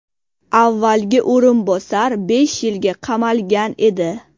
Avvalgi o‘rinbosar besh yilga qamalgan edi.